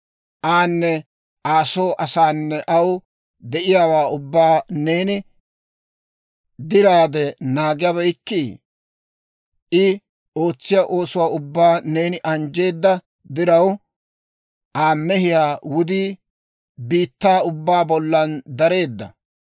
Aanne Aa soo asaanne aw de'iyaawaa ubbaa neeni diraade naagabeykkii? I ootsiyaa oosuwaa ubbaa neeni anjjeedda diraw, Aa mehiyaa wudii biittaa ubbaa bollan dareedda.